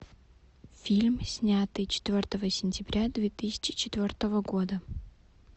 фильм снятый четвертого сентября две тысячи четвертого года